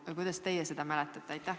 Või kuidas teie seda mäletate?